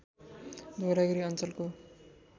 धवलागिरी अञ्चलको